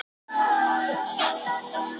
Sögusagnir um skipin.